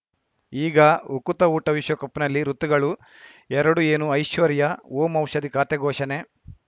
ಈಗ ಉಕುತ ಊಟ ವಿಶ್ವಕಪ್‌ನಲ್ಲಿ ಋತುಗಳು ಎರಡು ಏನು ಐಶ್ವರ್ಯಾ ಓಂ ಔಷಧಿ ಖಾತೆ ಘೋಷಣೆ